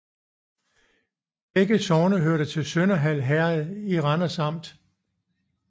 Begge sogne hørte til Sønderhald Herred i Randers Amt